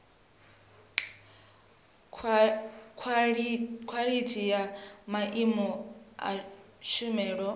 khwalithi ya maimo a tshumelo